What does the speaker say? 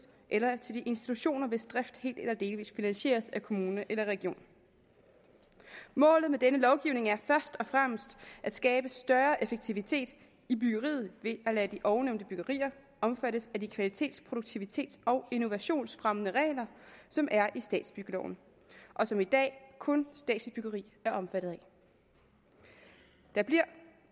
eller i de institutioner hvis drift helt eller delvis finansieres af kommune eller region målet med denne lovgivning er først og fremmest at skabe større effektivitet i byggeriet ved at lade de ovennævnte byggerier omfattes af de kvalitets produktivitets og innovationsfremmende regler som er i statsbyggeloven og som i dag kun statsligt byggeri er omfattet af der bliver